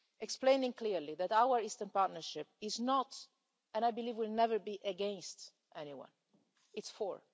explaining clearly that our Eastern Partnership is not, and I believe will never be, against anyone it's for.